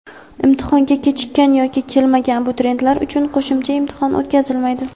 Imtihonga kechikkan yoki kelmagan abituriyentlar uchun qo‘shimcha imtihon o‘tkazilmaydi.